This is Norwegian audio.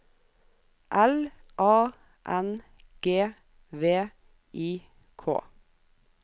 L A N G V I K